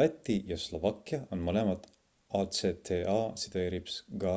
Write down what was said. läti ja slovakkia on mõlemad acta-ga